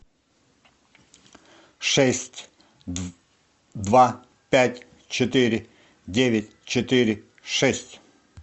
шесть два пять четыре девять четыре шесть